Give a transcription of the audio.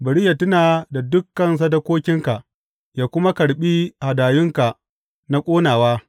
Bari yă tuna da dukan sadakokinka yă kuma karɓi hadayunka na ƙonawa.